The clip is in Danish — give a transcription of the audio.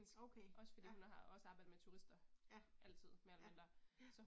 Okay, ja, ja, ja, ja